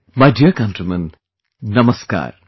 My dear countrymen, Namaskar